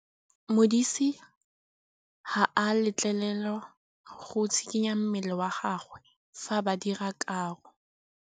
Modise ga a letlelelwa go tshikinya mmele wa gagwe fa ba dira karô.